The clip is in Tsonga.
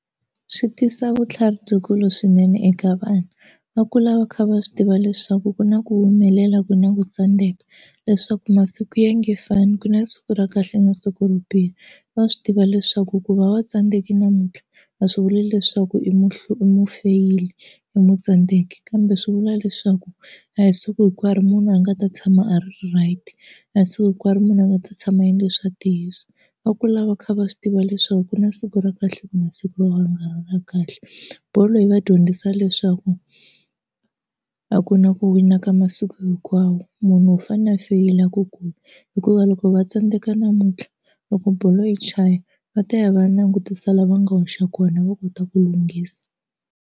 Swi tisa vutlhari byikulu swinene eka vana, va kula va kha va swi tiva leswaku ku na ku humelela ku na ku tsandeka, leswaku masiku ya nge fani ku na siku ra kahle na siku ro biha. Va swi tiva leswaku ku va va tsandzekile namuntlha a swi vuli leswaku i i mufeyili a nge tsandzeki kambe swi vula leswaku a hi siku hinkwaro munhu a nga ta tshama a ri right na siku hinkwaro munhu a nga ta tshama a endle swa ntiyiso. Va kula va kha va swi tiva leswaku ku na siku ra kahle ku na siku ro ka ri nga ri kahle. Bolo yi va dyondzisa leswaku a a ku na ku wina ka masiku hinkwawo munhu u fanele a feyila ku kula hikuva loko va tsandeka namuntlha loko bolo yi chaya va ta ya va langutisa lava nga hoxa kona va kota ku lunghisa.